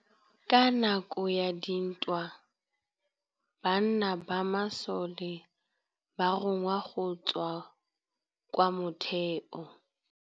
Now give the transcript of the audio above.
Ka nakô ya dintwa banna ba masole ba rongwa go tswa kwa mothêô.